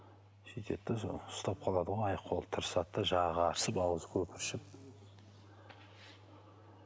сөйтеді де сол ұстап қалады ғой аяқ қолы тырысады да жағы қарысып ауызы көпіршіп